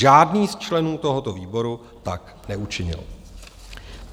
Žádný z členů tohoto výboru tak neučinil.